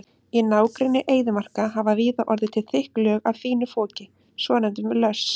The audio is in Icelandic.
Í nágrenni eyðimarka hafa víða orðið til þykk lög af fínu foki, svonefndum löss.